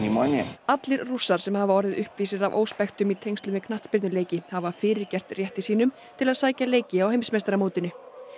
og annan allir sem hafa orðið uppvísir að óspektum í tengslum við knattspyrnuleiki hafa fyrirgert rétti sínum til að sækja leiki á heimsmeistaramótinu